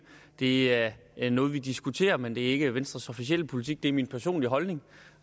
det er noget vi diskuterer men det er ikke venstres officielle politik det er min personlige holdning